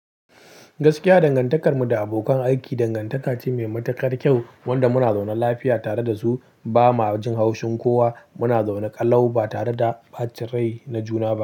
Gaskiya dangantakarmu da abokan aiki dangantaka ce mai matukar kyau, wanda muna zaune lafiya tare da su ba ma jin haushin kowa. Muna zaune ƙalau ba tare da ɓacin rai na juna ba.